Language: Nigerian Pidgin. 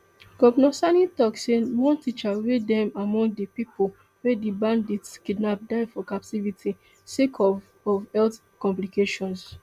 govnor sani tok say one teacher wey dem among di pipo wey di bandits kidnap die for captivity sake of of health complications